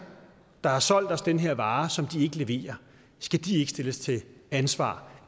der har solgt os den her vare som de ikke leverer ikke stilles til ansvar